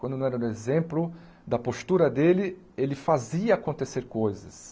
Quando não era no exemplo da postura dele, ele fazia acontecer coisas.